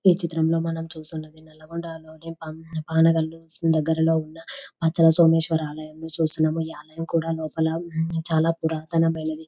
ఈ చిత్రం లో మనం చూస్తున్నది నల్గొండా లోని పామ్-పానగాళ్ళు దగ్గరలో ఉన్న వజ్ర సోమేశ్వర ఆలయం చూస్తున్నాము ఈ ఆలయం కూడా లోపల చాలా పురాతనమైనది ..